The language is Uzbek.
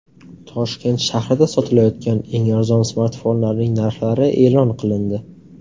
Toshkent shahrida sotilayotgan eng arzon smartfonlarning narxlari e’lon qilindi.